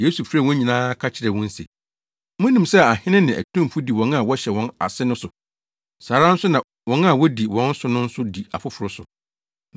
Yesu frɛɛ wɔn nyinaa ka kyerɛɛ wɔn se, “Munim sɛ ahene ne atumfo di wɔn a wɔhyɛ wɔn ase no so. Saa ara nso na wɔn a wodi wɔn so no nso di afoforo so.